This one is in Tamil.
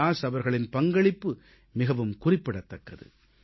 வ்யாஸ் அவர்களின் பங்களிப்பு மிகக் குறிப்பிடத்தக்கது